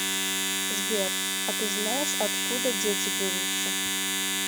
сбер а ты знаешь откуда дети берутся